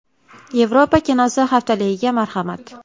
Yevropa kinosi haftaligiga marhamat.